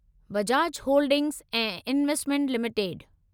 Bajaj holdings ऐं investment limited